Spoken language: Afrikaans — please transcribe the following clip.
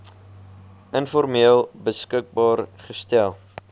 informeel beskikbaar gestel